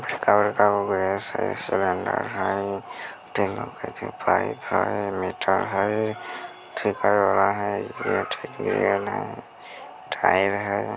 बड़का-बड़का गो गैस हई सिलेंडर हई | तीनो के तीनो पाइप हई मीटर हई ठीक करे वाला हई टायर हई |